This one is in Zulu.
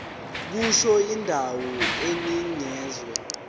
kusho indawo enikezwe